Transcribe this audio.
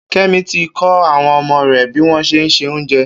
Kemi ti kọ awọn ọmọ rè biwọn ṣé n sé óoùnjẹ